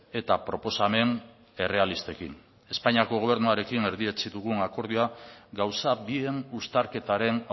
eta proposamen errealistekin espainiako gobernuarekin erdietsi dugun akordioa gauza bien uztarketaren